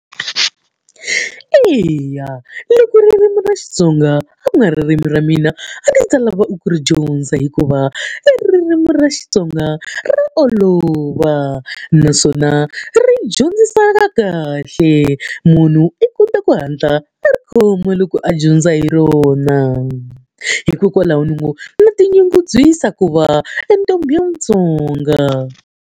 Eya loko ririmi ra Xitsonga a ku nga ririmi ra mina a ndzi ta lava ku ri dyondza hikuva i ririmi ra Xitsonga ra olova naswona ri dyondziseka kahle munhu i kota ku hatla a ri khoma loko a dyondza hi rona. Hikokwalaho ni ngo tinyungubyisa ku va entombi ya mutsonga.